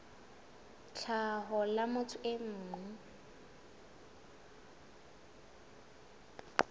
tlhaho la motho e mong